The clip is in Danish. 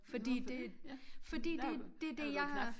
Fordi det fordi det det det jeg har